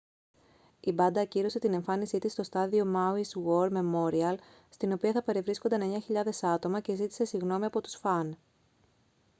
η μπάντα ακύρωσε την εμφάνισή της στο στάδιο μάουις γουορ μεμόριαλ στην οποία θα παρευρίσκονταν 9.000 άτομα και ζήτησε συγγνώμη από τους φαν